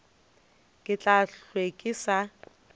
ke tla hlwe ke sa